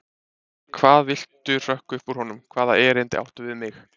Hvað viltu hrökk upp úr honum, hvaða erindi áttu við mig?